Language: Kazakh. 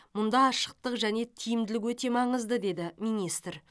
мұнда ашықтық және тиімділік өте маңызды деді министр